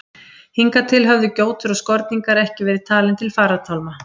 Hingað til höfðu gjótur og skorningar ekki verið talin til farartálma.